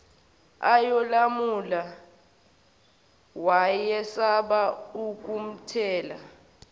ayolamula wayesaba ukumthela